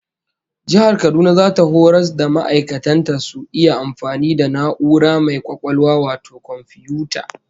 Jihar Kaduna zata horas da ma'aikatan ta su iya amfani da na'ura mai kwakwalwa wato komfiyuta